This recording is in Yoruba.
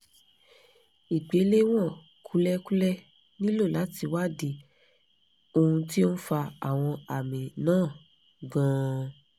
ìgbéléwọ̀n kúlẹ̀kúlẹ̀ nílò láti wádìí ohun tí ó ń fa àwọn àmì náà gan-an